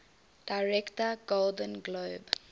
director golden globe